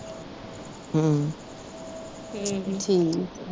ਹਮ ਠੀਕ